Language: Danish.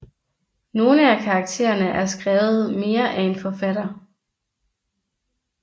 Nogle af karakterene er skrevet mere af en forfatter